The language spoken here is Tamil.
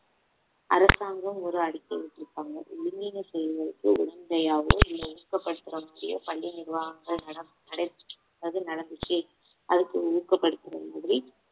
அரசாங்கம் ஒரு அறிக்கை விட்டிருக்காங்க செயல்களுக்கு உடந்தையாவோ இல்ல ஊக்கப்படுத்தராமாதிரியோ பள்ளி நிர்வாகங்கள் அது நடந்துச்சு அதுக்கு ஊக்கப்படுத்துற மாதிரி